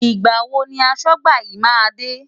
Ìgbà wo ni aṣọ́gbà yín máa dé?